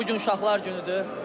Bu gün uşaqlar günüdür.